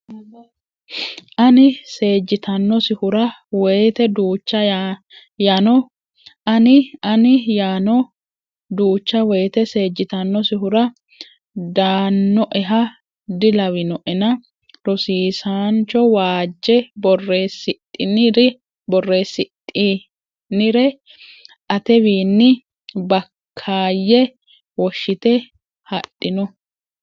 Anni seejjitanosihura woyte Duucha yano Anni Anni yano Duucha woyte seejjitanosihura daannoeha dilawinoena rosiissancho waajje borreessidhinire atewiinni Bakkaayye woshshite hadhino !